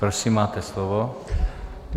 Prosím, máte slovo.